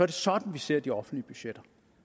det sådan vi ser de offentlige budgetter